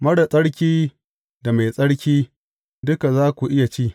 Marar tsarki da mai tsarki, duka za ku iya ci.